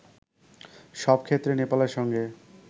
সব ক্ষেত্রে নেপালের সঙ্গে